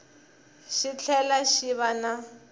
xi tlhela xi va na